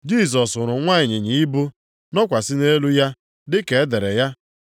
Jisọs hụrụ nwa ịnyịnya ibu, nọkwasị nʼelu ya, dị ka e dere ya,